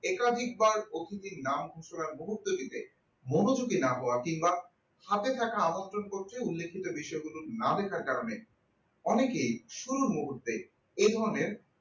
একাধিকবার অতিথির নাম ঘোষণা মুহূর্ত দিতে মনোযোগী না করেন কিংবা হাতে থাকা আমন্ত্রণ পত্রে উল্লেখিত বিষয়গুলি না লেখার কারণে অনেকেই শুরুর মুহূর্তে এই ধরনের